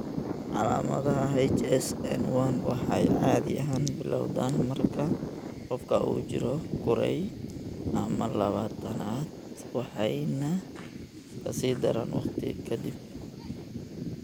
Calaamadaha HSN1 waxay caadi ahaan bilowdaan marka qofka uu jiro kuray ama labaatanaad waxayna ka sii daraan waqti ka dib.